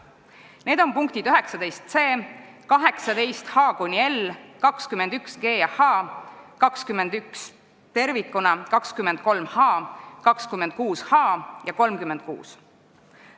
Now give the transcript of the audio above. Need on punktid 19c, 18h–18l, 21g–21h, 21 tervikuna, 23h, 26h ja 36.